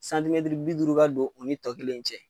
Santimɛtiri bi duuru ka don u ni tɔ kelen in cɛ.